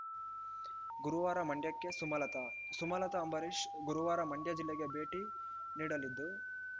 ಗುರುವಾರ ಮಂಡ್ಯಕ್ಕೆ ಸಮಲತಾ ಸುಮಲತಾ ಅಂಬರೀಶ್‌ ಗುರುವಾರ ಮಂಡ್ಯ ಜಿಲ್ಲೆಗೆ ಭೇಟಿ ನೀಡಲಿದ್ದು